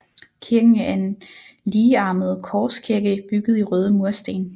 Kirken er en ligearmet korskirke bygget i røde mursten